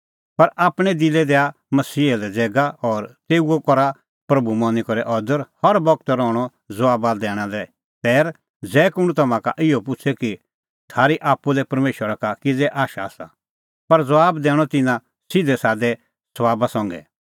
पर आपणैं दिलै दैआ मसीहा लै ज़ैगा और तेऊओ करा प्रभू मनी करै अदर हर बगत रहणअ ज़बाबा दैणा लै तैर ज़ै कुंण तम्हां का इहअ पुछ़े कि थारी आप्पू लै परमेशरा का किज़ै आशा आसा पर ज़बाब दैणअ तिन्नां सिधैसादै सभाबा संघै